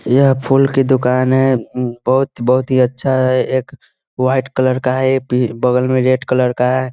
यह फूल के दुकान है बहुत बहुत ही अच्छा है एक वाइट कलर का है एक पी बगल में रेड कलर है।